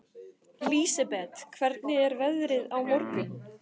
Lísebet, hvernig er veðrið á morgun?